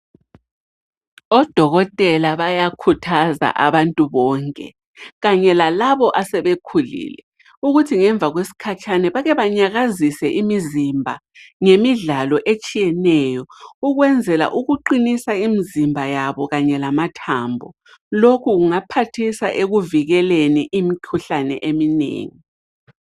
Odokotela bayakhuthaza abantu bonke, kanye lalabo asebekhulile ukuthi ngemva kwesikhatshana bake banyakazise imizimba ngemidlalo etshiyeneyo ukwenzela ukuqinisa imizimba yabo kanye lamathambo. Lokhu kungaphathisa ekuvikeleni imikhuhlane eminengi.